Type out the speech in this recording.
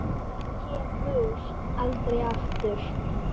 Kemur aldrei aftur.